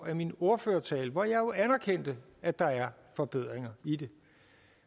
af min ordførertale hvor jeg jo anerkendte at der er forbedringer i det